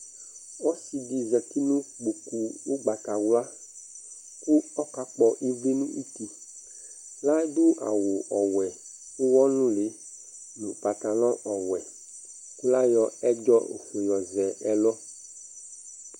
Ɔsɩ ɖɩ zati nʋ ƙƥoƙu ʋgbatawla, ƙʋ ɔƙa ƙƥɔ ɩlɩ nʋ tiL' aɖʋ awʋ wɛ ʋwɔ nʋlɩ,nʋ ƥatalɔ ɔwɛ ,ƙʋ l'aƴɔ ɛɖzɔfue ƴɔ zɛ ɛlʋ